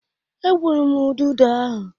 E gbụrụ m ududo ahụ.